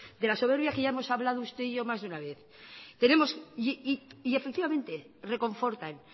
de la soberbia que ya hemos hablado usted y yo más de una vez tenemos y efectivamente reconfortan